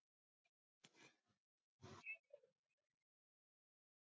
Svo er sagt að þáverandi menntamálaráðherra Íslands, Bjarni